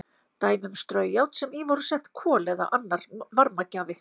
Dæmi um straujárn sem í voru sett kol eða annar varmagjafi.